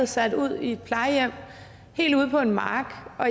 sat ud på et plejehjem helt ude på en mark og